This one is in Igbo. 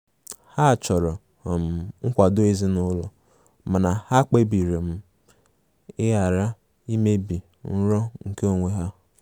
Ha chọrọ um nkwado ezinụlọ mana ha kpebiri um ịghara imebi nrọ nke onwe ha.